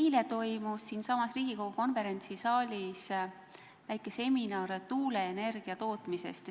Eile toimus siinsamas Riigikogu konverentsisaalis väike seminar tuuleenergia tootmise teemal.